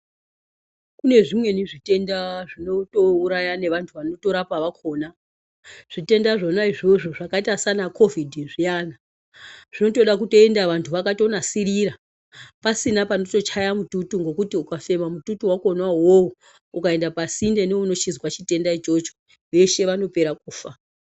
Kune zvimweni zvitenda zvinotouraya nevarapi vazvo vakona, zvitenda izvozvo zvakaita sanakovhidhi zviya, zvinoda kutoenda vantu vakanasirira pasina panotochaya mututu ngekuti ukafema mututu wakona iwowo ukaenda pasingeni unochinzwa chitenda ichocho veshe vanopera kufa.